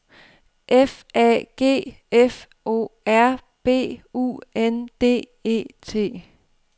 F A G F O R B U N D E T